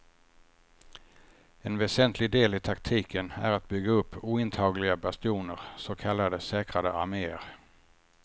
En väsentlig del i taktiken är att bygga upp ointagliga bastioner, så kallade säkrade armeer.